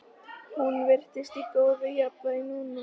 Hún virtist í góðu jafnvægi núna.